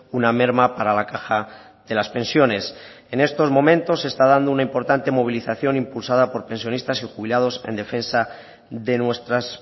una merma para la caja de las pensiones en estos momentos se está dando una importante movilización impulsada por pensionistas y jubilados en defensa de nuestras